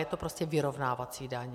Je to prostě vyrovnávací daň.